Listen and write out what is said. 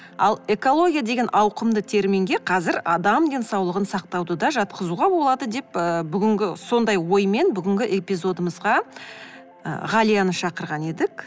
ал экология деген ауқымды терминге қазір адам денсаулығын сақтауды да жатқызуға болады деп ы бүгінгі сондай оймен бүгінгі эпизодымызға ы ғалияны шақырған едік